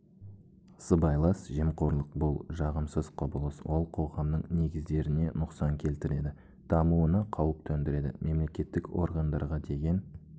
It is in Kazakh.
сыбайлас жемқорлық бұл жағымсыз құбылыс ол қоғамның негіздеріне нұқсан келтіреді дамуына қауіп төндіреді мемлекеттік органдарға деген